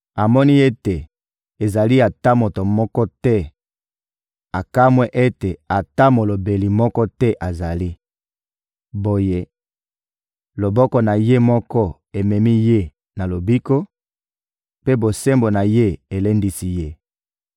Amoni ete ezali ata na moto moko te, akamwe ete ata molobeli moko te azali. Boye, loboko na Ye moko ememi Ye na lobiko, mpe bosembo na Ye elendisi Ye.